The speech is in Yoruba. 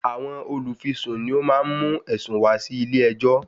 Àwọn olùfisùn ni ó má ń mú ẹ̀sùn wá sí ilẹ̀ ẹjọ́.